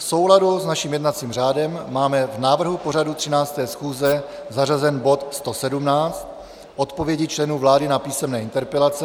V souladu s naším jednacím řádem máme v návrhu pořadu 13. schůze zařazen bod 117 - Odpovědi členů vlády na písemné interpelace.